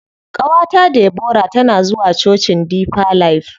Ƙawata Debora tana zuwa cocin deeper life.